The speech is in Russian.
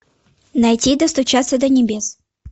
найти достучаться до небес